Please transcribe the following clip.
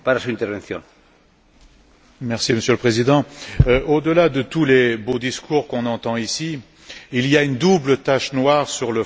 Monsieur le Président, au delà de tous les beaux discours qu'on entend ici, il y a une double tache noire sur le fronton de notre Union européenne.